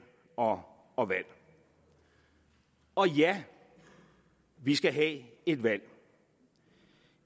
og valg og ja vi skal have et valg